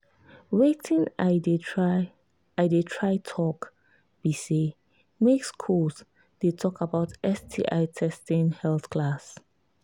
watin i they try i they try talk be say make school they talk about sti testing health class